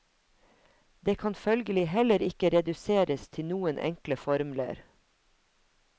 Det kan følgelig heller ikke reduseres til noen enkle formler.